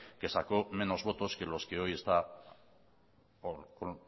que sacó menos votos que